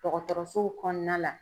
Dɔgɔtɔrɔsow kɔnɔna la.